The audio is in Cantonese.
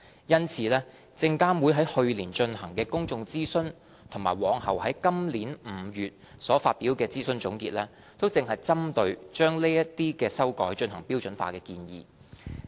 因此，證監會於去年進行的公眾諮詢及隨後於今年5月所發表的諮詢總結，正是針對把此等修改進行標準化的建議。